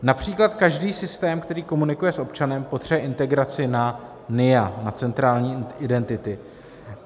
Například každý systém, který komunikuje s občanem, potřebuje integraci na NIA, na centrální identity.